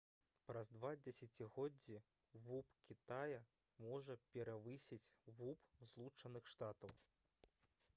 праз два дзесяцігоддзі вуп кітая можа перавысіць вуп злучаных штатаў